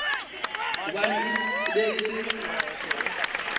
gobane e be e se